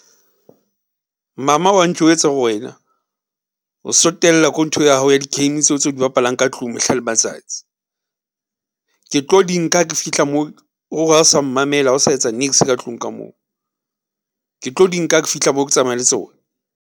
Mama wa ntjwetsa hore wena o so tella nthwe ya hao ya di-game tseo tse o di bapalang ka tlung mehla le matsatsi . Ke tlo di nka ha ke fihla moo o re hao sa mmamela ha o sa etsa niks ka tlung ka moo, ke tlo di nka ha ke fihla moo ke tsamaya le tsona.